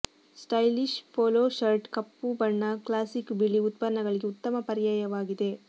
stylish polo shirt ಕಪ್ಪು ಬಣ್ಣ classic ಬಿಳಿ ಉತ್ಪನ್ನಗಳಿಗೆ ಉತ್ತಮ ಪರ್ಯಾಯವಾಗಿದೆ